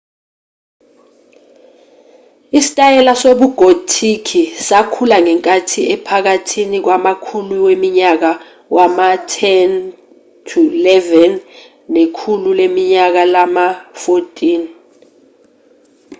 isitayela sobugothiki sakhula ngenkathi ephakathi kwamakhulu weminyaka wama-10 -11 nekhulu leminyaka lama-14